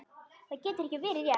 Það getur ekki verið rétt.